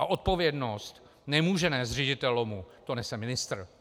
A odpovědnost nemůže nést ředitel LOMu, to nese ministr.